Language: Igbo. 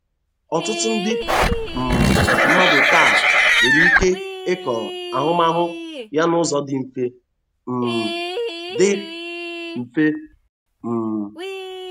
Ọtụtụ ndị um mmadụ taa nwere ike ịkọrọ ahụmahụ ya n'ụzọ dị mfe. um dị mfe. um